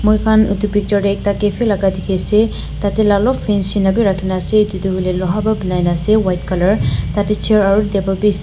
Amikhan etu picture teh ek ta cafe laga dekhiase tateh alop fancy korina rakhiase etu tu loha pora bona ase white colour teh.